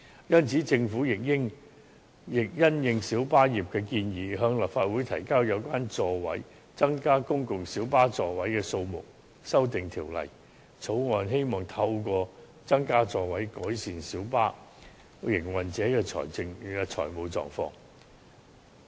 因此，政府亦因應小巴業界的建議，向立法會提交有關增加公共小巴座位數目的修訂條例草案，希望透過增加座位，改善小巴營運者的財務狀況。